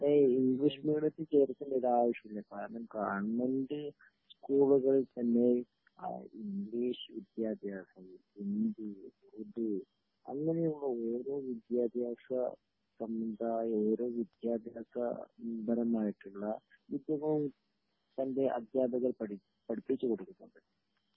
ഏയ് ഇംഗ്ലീഷ് മീഡിയത്തി ചേർക്കേണ്ട ഒരാവശ്യമില്ല കാരണം ഗവൺമെന്റ് സ്കൂളുകൾ തന്നെ ആ ഇംഗ്ലീഷ് വിദ്യാഭ്യാസം ഹിന്ദി ഉറുദു അങ്ങനെയുള്ള ഓരോ വിദ്യാഭ്യാസ സംവിധാ ഓരോ വിദ്യാഭ്യാസ നിരന്തരമായിട്ടുള്ള ഇപ്പോ സൺ ഡേയ് അധ്യാപകർ പടിപ്പിച്ചു കൊടുക്കുന്നുണ്ട്